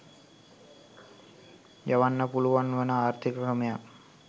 යවන්න පුළුවන් වන ආර්ථික ක්‍රමයක්